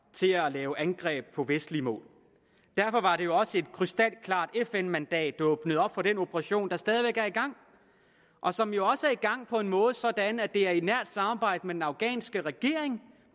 til at lave angreb på vestlige mål derfor var det også et krystalklart fn mandat der åbnede op for den operation der stadig væk er i gang og som jo også er i gang på en måde sådan at det er i et nært samarbejde med den afghanske regering